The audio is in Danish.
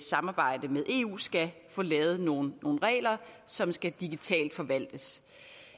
samarbejde med eu skal få lavet nogle regler som skal digitalt forvaltes